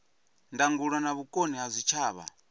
ndangulo na vhukoni ha zwitshavha